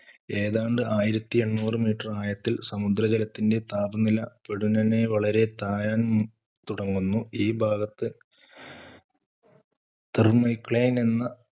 ഏതാണ്ട് ആയിരത്തി എണ്ണൂറ് meter ആഴത്തിൽ സമുദ്രജലത്തിന്‍റെ താപനില പൊടുന്നനെ വളരെ തായാൻ തുടങ്ങുന്നു. ഈ ഭാഗത്ത് thermocline എന്ന